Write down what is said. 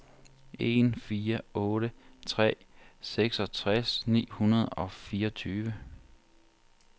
en fire otte tre seksogtres ni hundrede og fireogtyve